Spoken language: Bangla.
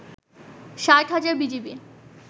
৬০ হাজার বিজিবি